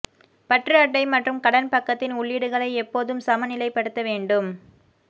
பற்று அட்டை மற்றும் கடன் பக்கத்தின் உள்ளீடுகளை எப்போதும் சமநிலைப்படுத்த வேண்டும்